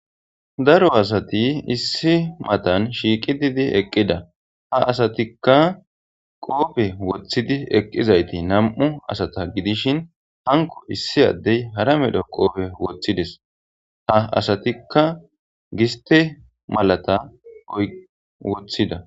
daro asati issi matan shiiqi didi eqqida ha asatikka qoope woththidi eqqizayti nam7u asata gidishin hanko issi addey hara medho qoope woththides ha asatikka giste malata woththida